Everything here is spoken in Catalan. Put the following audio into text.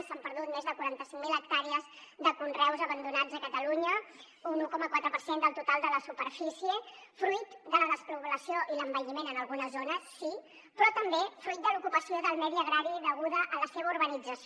s’han perdut més de quaranta cinc mil hectàrees de conreus abandonats a catalunya un un coma quatre per cent del total de la superfície fruit de la despoblació i l’envelliment en algunes zones sí però també fruit de l’ocupació del medi agrari deguda a la seva urbanització